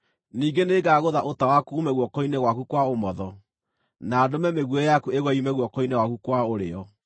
Ningĩ nĩngagũtha ũta waku uume guoko-inĩ gwaku kwa ũmotho, na ndũme mĩguĩ yaku ĩgwe yume guoko-inĩ gwaku kwa ũrĩo.